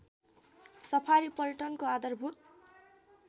safari पर्यटनको आधारभूत